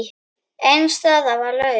Ein staða var laus.